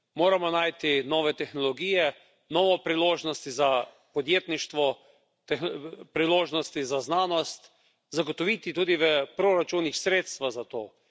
Moramo najti nove tehnologije, nove priložnosti za podjetništvo, priložnosti za znanost, zagotoviti tudi v proračunih sredstva za to.